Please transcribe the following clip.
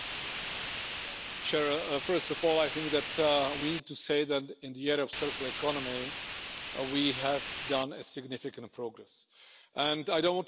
Se on tärkeä askel. Samoin komissio on esittänyt, että jatkossa muovin tulisi olla kokonaan kierrätettävää ja myös tietyistä kertakäyttömuoveista tultaisiin luopumaan.